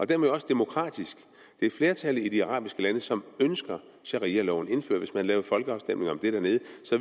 det også demokratisk det er flertallet i de arabiske lande som ønsker sharialoven indført hvis man havde afholdt en folkeafstemning om det dernede